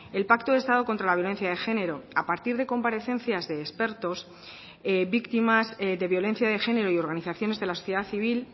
el pacto de estado contra la violencia de género a partir de comparecencias de expertos víctimas de violencia de género y organizaciones de la sociedad civil